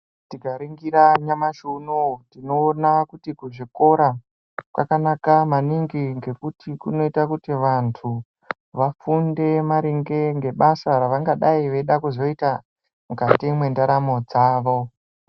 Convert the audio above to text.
Tikaringira nyamashi unowu tinoona kuti kuzvikora kwakanaka maningi ngekuti kunoita kuti vantu vafunde maringe ngebasa ravangadai veida kuzoita mukati mwendaramo dzavo.